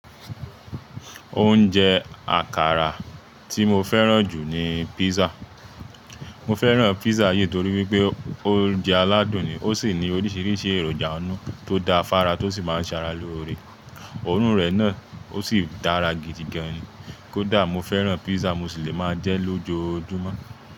Oúnjẹ àkàrà tí mo fẹ́ràn jù ni pizza. Mo fẹ́ràn pizza yìí torí wípé oúnjẹ aládùn ni, ó sì ní oríṣiríṣi èròjà náà tó da fára tó sì máa ń sara lóore. Òórùn rẹ̀ náà ó ṣì dára gidi gan ni. Kódà mo fẹ́ràn pizza mo ṣì le máa jẹ́ lójoójúmọ́.